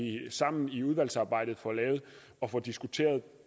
sammen i udvalgsarbejdet får lavet og får diskuteret